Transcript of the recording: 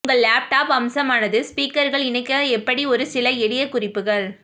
உங்கள் லேப்டாப் அம்சமானது ஸ்பீக்கர்கள் இணைக்க எப்படி ஒரு சில எளிய குறிப்புகள்